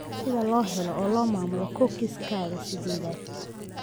Sida loo helo oo loo maamulo cookies-kaaga sidedad